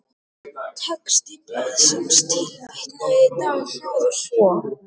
Texti blaðsins tilvitnaðan dag hljóðar svo